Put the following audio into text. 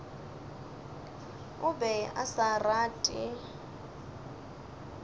o be a sa rate